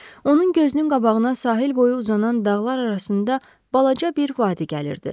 Onun gözünün qabağına sahil boyu uzanan dağlar arasında balaca bir vadi gəlirdi.